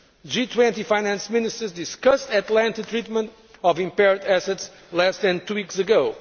G20 Finance Ministers discussed at length the treatment of impaired assets less than two weeks ago.